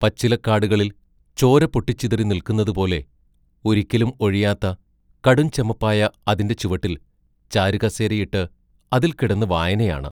പച്ചിലക്കാടുകളിൽ ചോര പൊട്ടിച്ചിതറി നില്ക്കുന്നതുപോലെ ഒരിക്കലും ഒഴിയാത്ത കടും ചെമപ്പായ അതിന്റെ ചുവട്ടിൽ ചാരുകസേരയിട്ട് അതിൽ കിടന്നു വായനയാണ്.